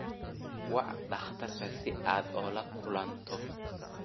Wac dhakhtarka si aad ula kulanto